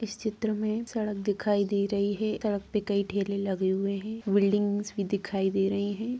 इस चित्र में सड़क दिखाई दे रही है सड़क पे कई ठेले लगे हुए हैं बिल्डिंगस भी दिखाई दे रही हैं।